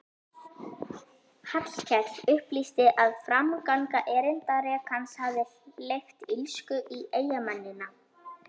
Hallkell upplýsti að framganga erindrekans hefði hleypt illsku í eyjamennina.